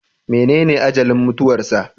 Menene ajalin mutuwarsa?